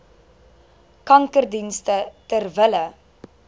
kankerdienste ter wille